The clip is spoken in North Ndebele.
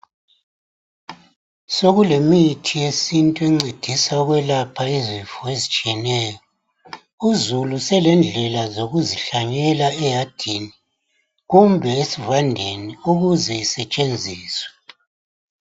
Sokulemithi yesintu encedisa ukwelapha izifo ezitshiyeneyo. Uzulu selendlela zokuzihlanyela eyadini kumbe esivandeni ukuze isetshenziswe.